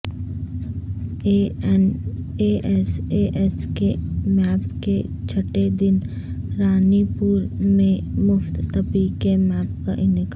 N S S camp کے چھٹے دن رانی پور مےں مفت طبی کےمپ کاانعقاد